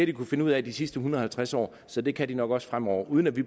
de kunnet finde ud af de sidste en hundrede og halvtreds år så det kan de nok også fremover uden at vi